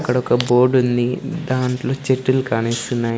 అక్కడ ఒక బోర్డు ఉంది దాంట్లో చెట్టులు కానిస్తున్నాయి.